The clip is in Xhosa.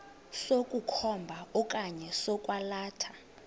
sokukhomba okanye sokwalatha